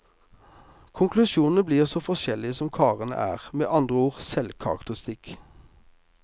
Konklusjonene blir så forskjellige som karene er, med andre ord en selvkarakteristikk.